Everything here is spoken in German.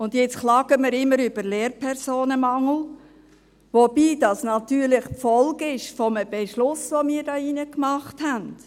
Jetzt klagen wir immer über den Lehrpersonenmangel, wobei dieser eine Folge eines Beschlusses ist, den wir hier drin gefasst haben.